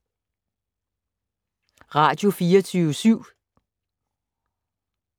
Radio24syv